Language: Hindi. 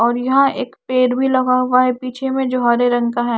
और यहां एक पेड़ भी लगा हुआ है पीछे में जो हरे रंग का है।